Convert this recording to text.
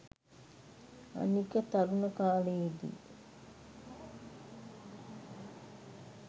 අනික තරුණ කාලයේදී